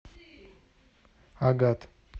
агат